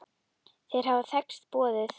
Þeir hafa þekkst boðið.